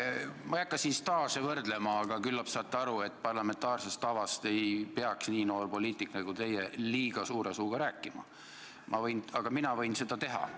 Ma ei hakka siin staaže võrdlema, aga küllap saate aru, et parlamentaarsest tavast ei peaks nii noor poliitik nagu teie liiga suure suuga rääkima, aga mina võin seda teha.